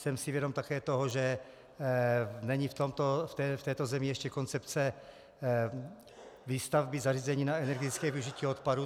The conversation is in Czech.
Jsem si vědom také toho, že není v této zemi ještě koncepce výstavby zařízení na energetické využití odpadu.